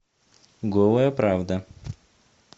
голая правда